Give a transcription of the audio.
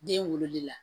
Den wololi la